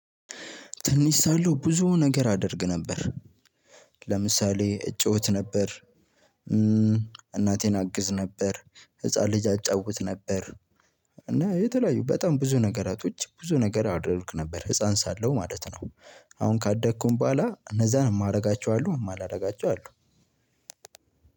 ትንሽ ሳለሁ ብዙ ነገር አደርግ ነበር። ለምሳሌ እጮት ነበር። እናቴን አግዝ ነበር ህፃን ልጅ አጫውት ነበር። እና የተለያዩ በጣም ብዙ ነገራቶች ብዙ ነገር አደርግ ነበር ህፃን ሳለው ማለት ነው። አሁን ካደግኩኝ በኋላ እነዛን ማደጋቸው አሉ እማላደጋቸው አሉ።